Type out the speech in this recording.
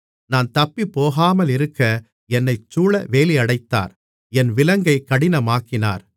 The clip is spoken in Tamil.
நான் தப்பிப்போகாமலிருக்க என்னைச்சூழ வேலியடைத்தார் என் விலங்கை கடினமாக்கினார்